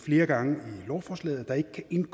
en